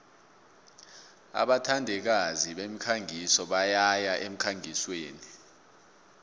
abathandikazi bemikhangiso bayaya emkhangisweni